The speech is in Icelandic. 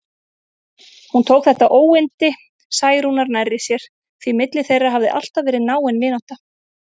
Hún tók þetta óyndi Særúnar nærri sér, því milli þeirra hafði alltaf verið náin vinátta.